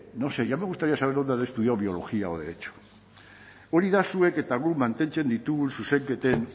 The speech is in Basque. ya me gustaría saber dónde han estudiado biología o derecho hori da zuek eta guk mantentzen ditugun zuzenketen